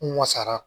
N wasara